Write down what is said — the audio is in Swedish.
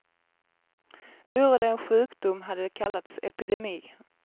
Vore det en sjukdom hade det kallats epidemi.